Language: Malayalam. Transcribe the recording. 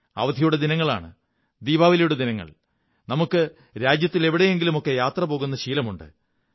അവധിയുടെ ദിനങ്ങളാണ് ദീപാവലിയുടെ ദിനങ്ങൾ നമുക്ക് രാജ്യത്തിലെവിടെയെങ്കിലുമൊക്കെ യാത്ര പോകുന്ന ശീലമുണ്ട്